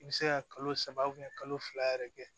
I bɛ se ka kalo saba kalo fila yɛrɛ kɛ